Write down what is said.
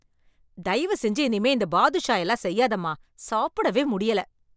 தயவு செஞ்சு இனிமே இந்த பாதுஷா எல்லாம் செய்யாதம்மா, சாப்பிடவே முடியல.